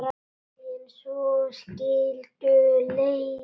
En svo skildu leiðir.